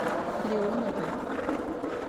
леоновой